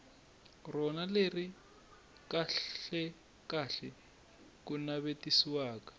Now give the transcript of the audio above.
rona leri kahlekahle ku navetisiwaka